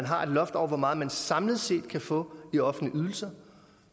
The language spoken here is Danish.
har et loft over hvor meget nogen samlet set kan få i offentlige ydelser